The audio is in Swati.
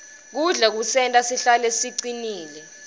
kudla kusenta sihlale sicinile